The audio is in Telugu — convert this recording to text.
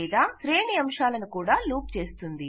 లేదా శ్రేణి అంశాలను కూడా లూప్ చేస్తుంది